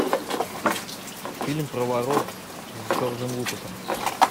фильм про воров с джорджем лукасом